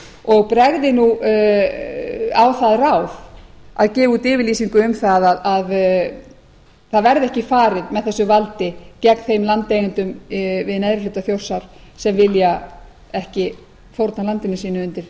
og bregði nú á það ráð að gefa út yfirlýsingu um að það verði ekki farið með þessu valdi gegn þeim landeigendum við neðri hluta þjórsár sem vilja ekki fórna landi sínu undir